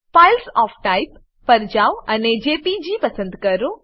files of type પર જાવ અને જેપીજી પસંદ કરો